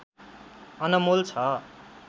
अनमोल छ